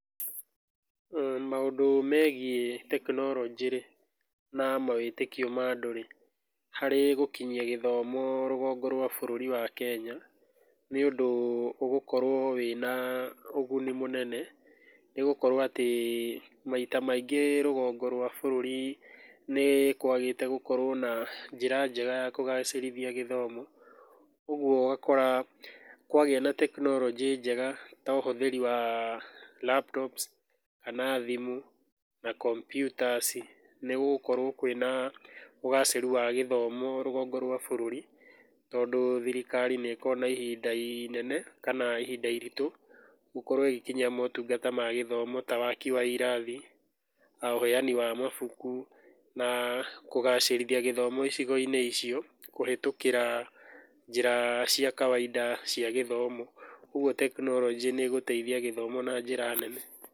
mmh Maũndũ megiĩ tekinoronjĩ-rĩ na mawĩtĩkio ma andũ-rĩ harĩ gũkinyia gĩthomo rũgongo rwa bũrũri wa Kenya, nĩ ũndũ ũgũkorwo wĩna ũguni mũnene nĩgũkorwo atĩ maita maingĩ rũgongo rwa bũrũri nĩ kwagĩte gũkorwo na njĩra njega ya kũgacĩrithia gĩthomo ũguo ũgakora kwagĩa na tekinoronjĩ njega ta ũhũthiri wa laptops kana thimũ na computers nĩgũgũkorwo kwĩna ũgacĩru wa gĩthomo rũgongo rwa bũrũri tondu thirikari nĩkoragwo na ihinda inene kana ihinda iritũ gũkorwo ĩgikinyia motungata ma gĩthomo ta waki wa irathi, uheani wa mabuku na kũgacĩrithia gĩthomo icigo-inĩ icio kũhĩtũkĩra njĩra cia kawainda cia gĩthomo, ũguo tekinoronjĩ nĩ ĩgũteithia gĩthomo na njĩra nene.